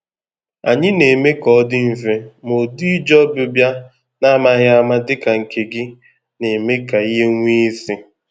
Anyị na-eme ka ọ dị mfe, ma ụdị ije ọbịbịa n’amaghị ama dị ka nke gị na-eme ka ihe nwee isi